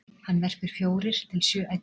hann verpir fjórir til sjö eggjum